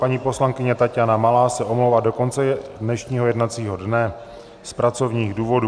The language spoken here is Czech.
Paní poslankyně Taťána Malá se omlouvá do konce dnešního jednacího dne z pracovních důvodů.